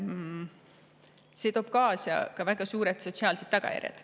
See toob endaga kaasa väga suured sotsiaalsed tagajärjed.